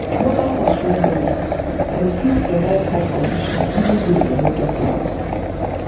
local fowl strong wella and fit survive hard condition even if dem no get house